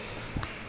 kwi account eza